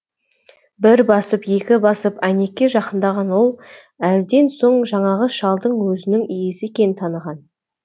бір басып екі басып әйнекке жақындаған ол әлден соң жаңағы шалдың өзінің иесі екенін таныған